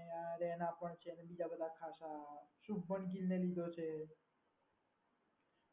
અને રાયના પણ છે. પણ છે બીજા બધા ખાસા ને લીધો છે.